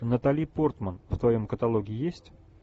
натали портман в твоем каталоге есть